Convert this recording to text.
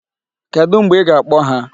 Kedụ mgbe ị ga-akpọ ha?